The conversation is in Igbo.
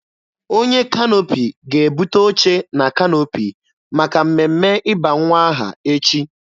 Onye kanoopi ga-ebute oche na kanoopi maka mmemme ịba nwa aha echi.